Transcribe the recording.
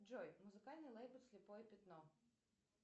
джой музыкальный лейбл слепое пятно